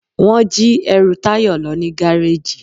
wọn jí ẹru Tayo lo ni garejí.